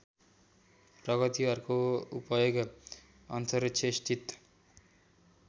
प्रगतिहरूको उपयोग अन्तरिक्षस्थित